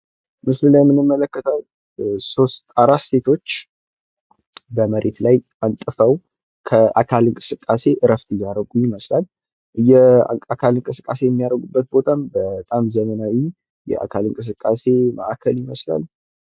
ምስሉ ላይ ምንመለከተው 4 ሴቶች በመሬት ላይ አንጥፈው ከአካል እንቀስቃሴ እረፍት እያደረጉ ይመስላል። የአካል እንቅስቃሴ እሚያረጉበት ቦታም በጣም ዘመናዊ የአካል እንቅስቃሴ ማእከል ይመስላል።